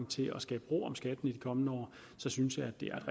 til at skabe ro om skatten i de kommende år så synes jeg det er